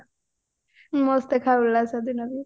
ମସ୍ତ ଦେଖା ଗଲା ସେଦିନ